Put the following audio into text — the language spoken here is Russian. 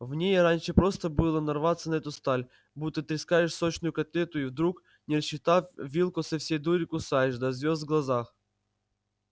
в ней раньше просто было нарваться на эту сталь будто трескаешь сочную котлету и вдруг не рассчитав вилку со всей дури кусаешь до звёзд в глазах